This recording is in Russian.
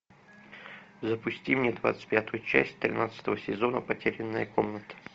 запусти мне двадцать пятую часть тринадцатого сезона потерянная комната